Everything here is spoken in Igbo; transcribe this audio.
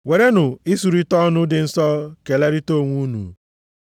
Werenụ isurita ọnụ dị nsọ kelerịta onwe unu.